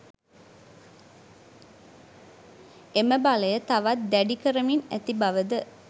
එම බලය තවත් දැඩි කරමින් ඇති බවද